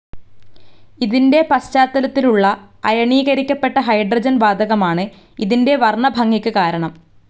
ഇതിൻ്റെ പശ്ചാത്തലത്തിലുള്ള അയണീകരിക്കപ്പെട്ട ഹൈഡ്രോജൻ വാതകമാണ് ഇതിൻ്റെ വർണ്ണഭംഗിക്ക് കാരണം.